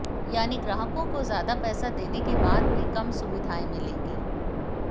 यानी ग्राहकों को ज्यादा पैसे देने के बाद भी कम सुविधाएं मिलेंगी